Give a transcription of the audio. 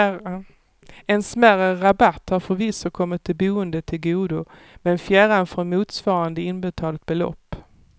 En smärre rabatt har förvisso kommit de boende till godo men fjärran från motsvarande inbetalt belopp.